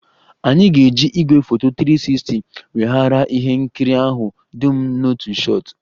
Anyị ga-eji igwefoto 360 weghara ihe nkiri ahụ dum n'otu shot